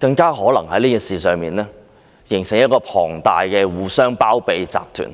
他們更可能在這事上形成龐大的互相包庇集團。